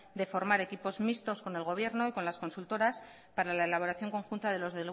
de formar equipos mixtos con el gobierno y con las consultoras para la elaboración conjunta